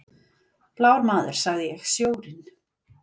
Blár maður, sagði ég: Sjórinn.